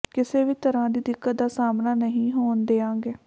ਕਿਸੇ ਵੀ ਤਰ੍ਹਾਂ ਦੀ ਦਿੱਕਤ ਦਾ ਸਾਹਮਣਾ ਨਹੀਂ ਹੋਣ ਦਿਆਂਗੇ